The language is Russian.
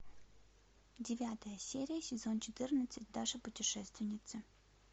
девятая серия сезон четырнадцать даша путешественница